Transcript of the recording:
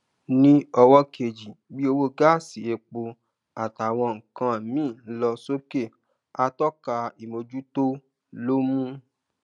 ní ọwó kejì bí owó gáàsì epo àtàwọn nǹkan míì ń lọ sókè àtọka ìmojútó ló mú